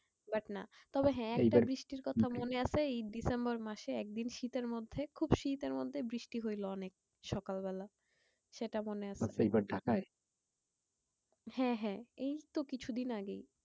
But না তবে হ্যাঁ? একটা বৃষ্টির কথা মনে আছে এই ডিসেম্বর মাসে একদিন শীতের মধ্যে খুব শীতের মধ্যে বৃষ্টি হইলো অনেক সকাল বেলা, সেটা মনে আছে। হ্যাঁ হ্যাঁ এই তো কিছুদিন আগেই।